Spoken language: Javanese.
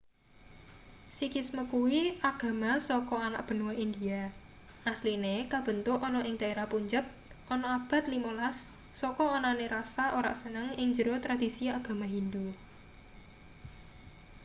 sikhisme kuwi agama saka anak benua india asline kabentuk ana ing daerah punjab ana abad 15 saka anane rasa ora seneng ing njero tradisi agama hindu